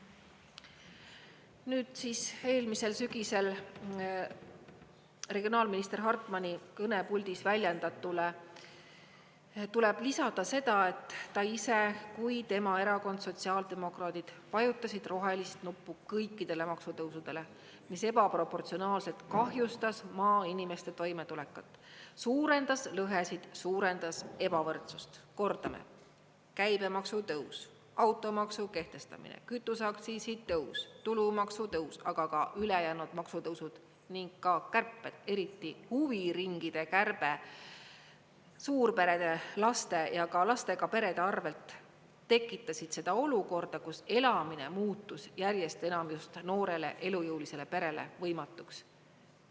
Nüüd siis eelmisel sügisel, regionaalminister Hartmani kõnepuldis väljendatule tuleb lisada seda, et nii ta ise kui ka tema erakond sotsiaaldemokraadid vajutasid rohelist nuppu kõikidele maksutõusudele, mis ebaproportsionaalselt kahjustas maainimeste toimetulekut, suurendas lõhesid, suurendas ebavõrdsust, Kordame: käibemaksu tõus, automaksu kehtestamine, kütuseaktsiisi tõus, tulumaksu tõus, aga ka ülejäänud maksutõusud ning kärped, eriti huviringide kärbe suurperede laste ja lastega perede arvelt tekitasid seda olukorda, kus elamine muutus järjest enam just noorele elujõulisele perele võimatuks.